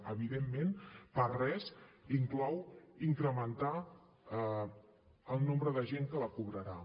evidentment per res inclou incrementar el nombre de gent que la cobrarà